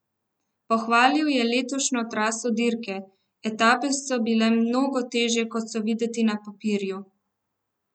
Pohvalil je letošnjo traso dirke: "Etape so bile mnogo težje, kot so videti na papirju.